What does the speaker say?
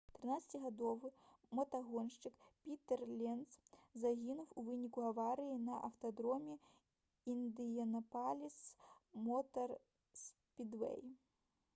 13-гадовы матагоншчык пітэр ленц загінуў у выніку аварыі на аўтадроме «індыянапаліс мотар спідвэй»